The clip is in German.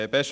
Besten